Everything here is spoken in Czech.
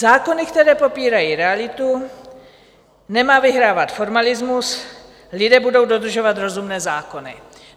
Zákony, které popírají realitu, nemá vyhrávat formalismus, lidé budou dodržovat rozumné zákony.